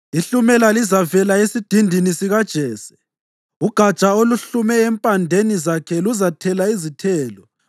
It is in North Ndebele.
Ihlumela lizavela esidindini sikaJese; uGatsha oluhlume empandeni zakhe luzathela izithelo.